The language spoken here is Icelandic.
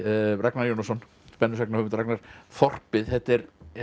Ragnar Jónasson spennusagnahöfund Ragnar þorpið þetta er